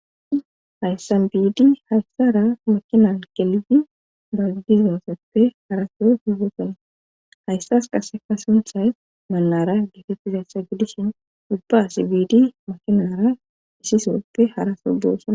Hayssan biidi hayssara makinan gelidi ba diizosoppe hara soo boosona hayssas qasse sunthay mannariya geetettizassa gidishin ubba biidi makinara issi sooppe hara soo boosona.